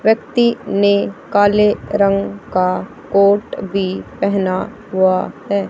व्यक्ति ने काले रंग का कोट भी पहना हुआ है।